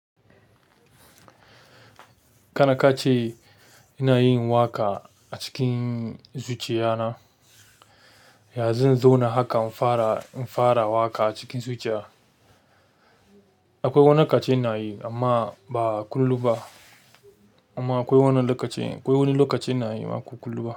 Kana ka ce ina yin waƙa a cikin zuciya na, ya zan zo na haka in fara, in fara waƙa a cikin zuciya? Akwai wani kace ina yi amma ba kullum ba amma akwai wannan lokacin, akwai wani lokacin ina yi waƙa kullum ma.